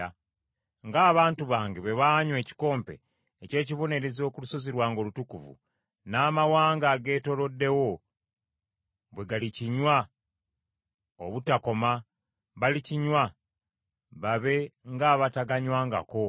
Ng’abantu bange bwe baanywa ekikompe eky’ekibonerezo ku lusozi lwange olutukuvu n’amawanga ageetooloddewo bwe galikinywa obutakoma; balikinywa, babe ng’abataganywangako.